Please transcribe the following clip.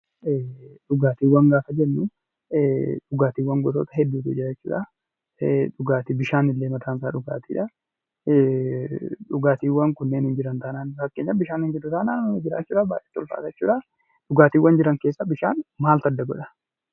Dhugaatiin gosa hedduutu jira fakkeenyaaf bishaanuu mataa isaatiin dhugaatiidha. Kanaafuu bishaan gosoota dhugaatii keessaa Isa bu'uuradha.